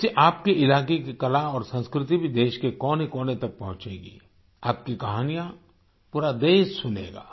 इससे आपके इलाके की कला और संस्कृति भी देश के कोनेकोने तक पहुंचेगी आपकी कहानियाँ पूरा देश सुनेगा